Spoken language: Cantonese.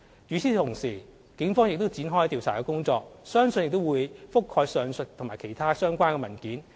與此同時，警方亦已展開調查工作，相信亦會覆蓋上述及其他相關的文件。